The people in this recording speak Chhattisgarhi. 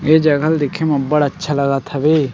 ए जंगल देखे म अब्बड़ अच्छा लगत हवे।